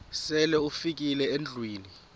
sele ufikile endlwini